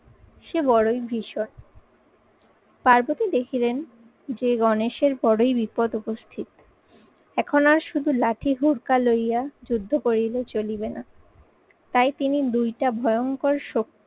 সে বড়ই বিষয়। পার্বতী দেখিলেন যে গণেশের বড়ই বিপদ উপস্থিত। এখন আর শুধু লাঠি হুরকা লইয়া যুদ্ধ করিলে চলিবে না। তাই তিনি দুইটা ভয়ঙ্কর স